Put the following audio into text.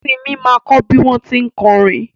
Simi ma kọ́ bí wọ́n tí ń kọrin